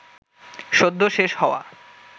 সদ্য শেষ হওয়া